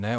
Ne.